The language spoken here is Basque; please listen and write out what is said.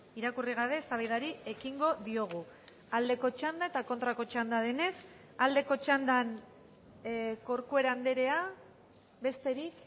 irakurri gabe eztabaidari ekingo diogu aldeko txanda eta kontrako txanda denez aldeko txandan corcuera andrea besterik